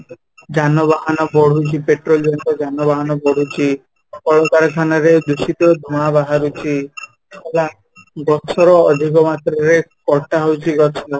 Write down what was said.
ଯାନବାହାନ ବଢୁଛି petrol ଜିନିଷ ରେ ଯାନବାହାନ ବଢୁଛି, କଳକାରଖାନା ରେ ଦୂଷିତ ଧୂଆଁ ବାହାରୁଛି ହେଲା, ଗଛ ର ଅଧିକ ମାତ୍ରା ରେ କଟା ହଉଛି ଗଛ